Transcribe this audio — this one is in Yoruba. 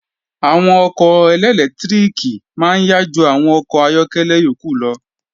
Àwọn ọkọ̀ ẹlẹ́lẹtíríkì máa yá ju àwọn àwọn ọkọ̀ ayọ́kẹ́lẹ́ yókù lọ